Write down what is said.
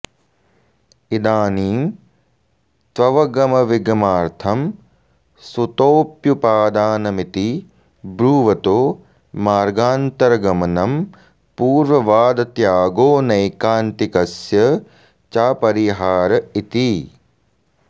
इदानीं त्ववगमविगमार्थं सतोऽप्युपादानमिति ब्रूवतो मार्गान्तरगमनं पूर्ववादत्यागोऽनैकान्तिकस्य चापरिहार इति